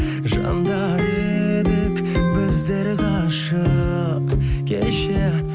жандар едік біздер ғашық кеше